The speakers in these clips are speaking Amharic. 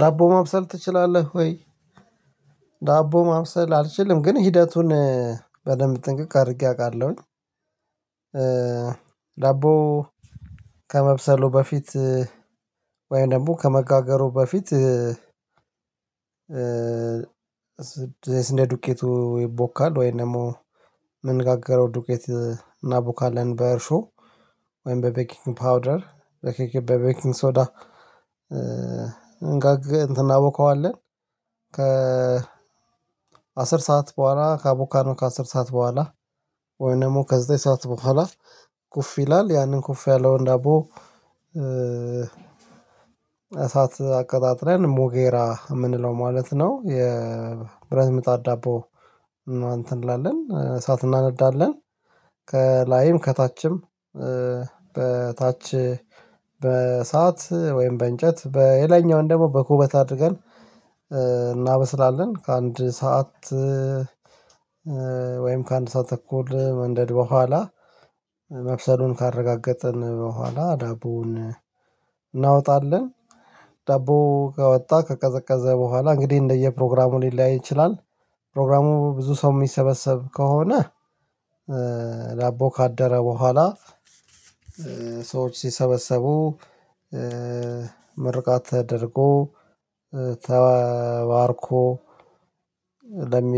ዳቦ ማብሰል ትችላለህ ወይ? ዳቦ ማብሰል አልችልም ግን ሂደቱን በደንብ ጥንቅቅ አድርጌ አውቃለሁኝ። ዳቦ ከመብሰሉ በፊት ወይም ደግሞ ከመጋገሩ በፊት ዱቄቱ ይቦካል ወይም ደግሞ የምንጋገረው ዱቄት እናቦካለን በእርሾ ወይም በቤኪንግ ፓውደር በኬኬ በቤኪንግ ሶዳ እንጋግ እናቦካዋለን ከ አስር ሰዓት ቦኋላ ካቦካነው ከአስር ሰዓት ቦኋላ ወይ ደግሞ ከዘጠኝ ሰዓት ቦኋላ ኩፍ ይላል ያንን ኩፍ ያለውን ዳቦ እሳት አቀጣጥለን ሙጌራ የምንለው ማለት ነው። የብረት ሚጣድ ዳቦ እና እንትን እንላለን እሳት እናነዳለን ከላይም ከታችም በታች በሰአት ወይም በእንጨት በሄለኛው ደግሞ በኩበት አድርገን እናበስላለን ከአንድ ሰዓት ወይም ከአንድ ሰዓት ተኩል መንደድ ቦኋላ መብሰሉን ካረጋገጥን ቦኋላ ዳቦውን እናወጣለን። ዳቦ ከወጣ ከቀዘቀዘ ቦኋላ እንግዲህ እንደየፕሮግራሙ ሊለያይ ይችላል። ፕሮግራሙ ብዙ ሰው የሚሰበሰብ ከሆነ ዳቦ ካደረ ቦኋላ ሰዎች ሲሰበሰቡ ምርቃት ተደርጎ ተባርኮ ለሚ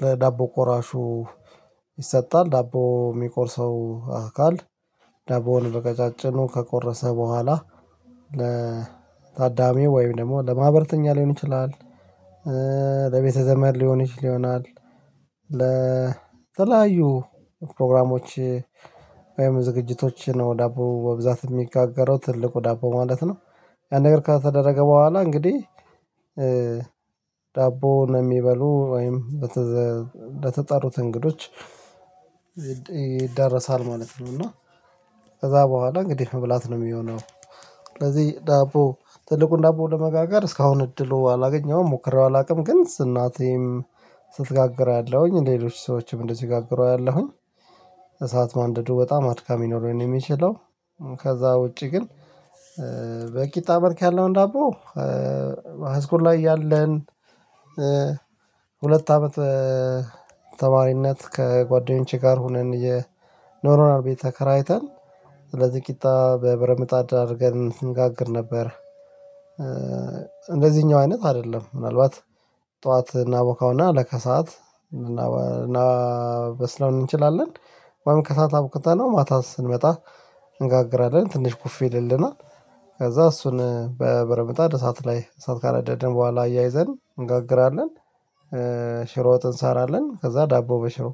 በዳቦ ቆራሹ ይሰጣል ዳቦ የሚቆርሰው አካል ዳቦን በቀጫጭኑ ከቆረሰ ቦኋላ ለታዳሚው ወይም ደግሞ ለማህበርተኛ ሊሆን ይችላል። ለቤተዘመድ ሊሆን ይችል ይሆናል። ለተለያዩ ፕሮግራሞች ወይም ዝግጅቶች ነው ዳቦ በብዛት የሚጋገረው ትልቁ ዳቦ ማለት ነው። አንድ ነገር ከተደረገ ቦኋላ እንግዲህ ዳቦ ነው የሚበሉ ወይም እንደተጠሩት እንግዶች ይዳረሳል ማለት ነው። እና ከዛ ቦኋላ እንግዲህ መብላት ነው የሚሆነው ስለዚህ ዳቦ ትልቁን ዳቦ ለመጋጋር እስካሁን እድሉ አላገኘሁም ሞክሬው አላውቅም ግን አናቴም ስትጋግረው አለሁኝ ሌሎች ሰዎችም እንደዚህ ስጋግሩ አያለሁኝ እሳት ማንደዱ በጣም አድካሚ ነው ለሆን የሚለው ከዛ ውጪ ግን በቂ ጣዕምርክ ያለውን ዳቦ ሃይስኩል ላይ ያለን ሁለት አመት ተማሪነት ከጓደኞቼ ጋር ሆነን የኖሮናል ቤት ተከራይተን ስለዚህ ቂጣ በብረት ምጣድ አርገን አንጋግር ነበረ። እንደዚህኛው አይነት አይደለም። ምናልባት ጡዋት እናቦካውና ለከሰዓት እናበስለው እንችላለን በምን ከሰአት አብክተነው ማታ ስንመጣ እንጋግራለን ትንሽ ኩፍ ይልልናል። ከዛ እሱን በበረት ምጣድ እሳት ላይ እሳት ካነደድን ቦኋላ አያይዘን እንጋግራለን። ሽሮ ወጥ እንሰራለን ከዛ ዳቦ በሽሮ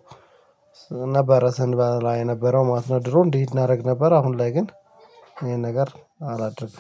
ነበረ ስንበላ የነበረው ማለት ነው ድሮ እንዲህ እናደርግ ነበር አሁን ላይ ግን ይሄን ነገር አላደርግም።